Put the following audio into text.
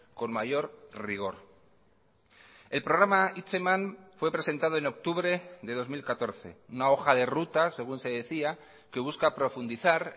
con mayor rigor el programa hitzeman fue presentado en octubre de dos mil catorce una hoja de ruta según se decía que busca profundizar